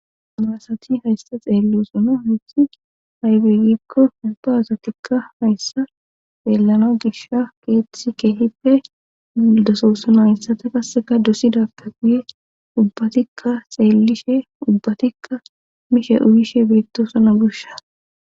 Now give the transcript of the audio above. Amarasati haysta xeelu osona histi haybegikko ubba asatikka hayssa xeellana gisha keethti keehippe ildasosana hayssata qasseka dossidappe guye ubbatikka xeellishe ubbatikka mishe uyishe birttoosana gusha.